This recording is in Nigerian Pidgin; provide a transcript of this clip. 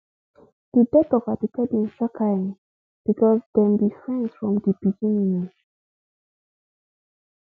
di death of aduke bin shock her um becos dem be friends from di beginning um